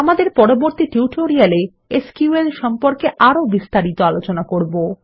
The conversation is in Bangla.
আমাদের পরবর্তী টিউটোরিয়ালে এসকিউএল সম্পর্কে আরও বিস্তারিত আলোচনা করব